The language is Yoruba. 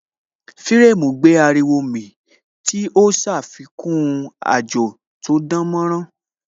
Firemu gbé ariwo mì tí ó ṣàfikún àjò tó dánmọ́nrán